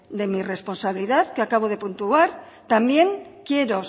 de mi responsabilidad que acabo de puntuar también quiero